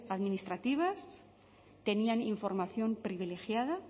administrativas tenían información privilegiada